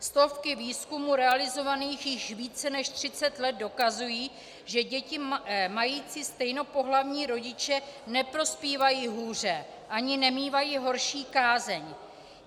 Stovky výzkumů realizovaných již více než 30 let dokazují, že děti mající stejnopohlavní rodiče neprospívají hůře ani nemívají horší kázeň.